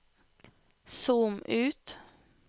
zoom ut